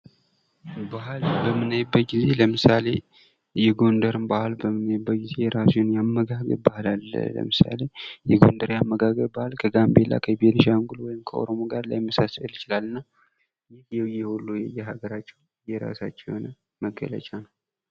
ባህል በምናይበት ጊዜ ለምሳሌ የጎንደር ባህል በምናይበት ጊዜ የራሱ አመጋገብ ባህል አለ። ለምሳሌ የጎንደሬ አመጋገብ ባህል ከጋምቤላ፣ ከቤኒሻንጉል፣ ከኦሮሞ ጋር ሊመሳሰል ይችላል እና ይህ ሁሉ የሀገራችው የየራሳቸው መገለጫ ነው።